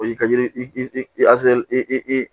O y'i ka yiri i i